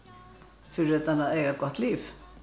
fyrir utan að eiga gott líf